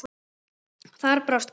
Þar brást kerfið.